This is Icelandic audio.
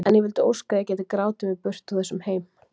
En ég vildi óska að ég gæti grátið mig burt úr þessum heimi.